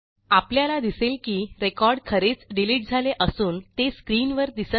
आपल्याला दिसेल की रेकॉर्ड खरेच डिलिट झाले असून ते स्क्रीनवर दिसत नाही